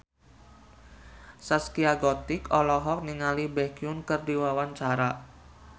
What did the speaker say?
Zaskia Gotik olohok ningali Baekhyun keur diwawancara